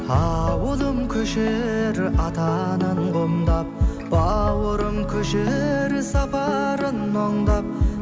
ауылым көшер ата анаң құмдап бауырым көшер сапарын мұңдап